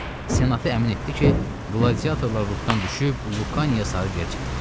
Senatı əmin etdi ki, qladiatorlar ruhdan düşüb Lukaya sarı gerçəkləyirlər.